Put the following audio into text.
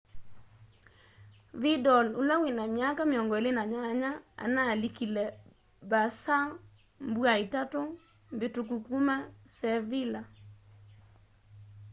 vĩdal ũla wĩna myaka 28 analĩkĩle barca mbũa itatũ mbĩtũkũ kũma sevĩlla